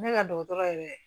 Ne ka dɔgɔtɔrɔ yɛrɛ